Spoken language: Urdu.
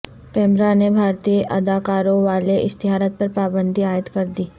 پیمرا نے بھارتی اداکاروں والے اشتہارات پر پابندی عائد کردی